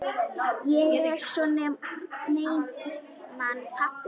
Ég er svo einmana pabbi.